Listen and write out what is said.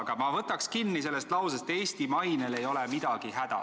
Kuid ma võtaks kinni lausest "Eesti mainel ei ole midagi häda".